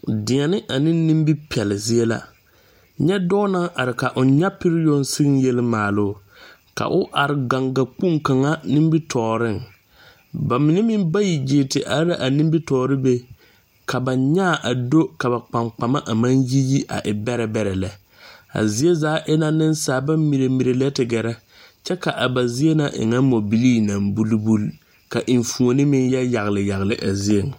Deɛnɛ ane nimi pɛli zie la ,nyɛ dɔɔ naŋ are ka o nyapire yoŋ seŋ yeli maaloo ka o are gaŋga kpoŋ kaŋ nimi tɔɔriŋ ba mine meŋ bayi gyere ti are la a nimi tɔɔre be ka ba nyaa do ka ba kpaŋkpama yiyi a e bɛrɛ bɛɛrɛ lɛ a zie zaa e la noba mirimiri lɛ a ti gɛrɛ kyɛ ka a ba zie na re nyɛ mɔ bilee naŋ bulibuli ka meŋ yɛyaglɛ yaglɛ a zieŋ.